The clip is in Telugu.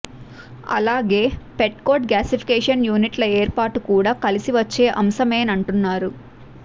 అలాగే పెట్కోక్ గ్యాసిఫికేషన్ యూనిట్ల ఏర్పాటు కూడా కలిసి వచ్చే అంశమేనంటున్నారు